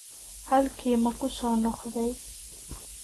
Halkii ma ku soo noqday?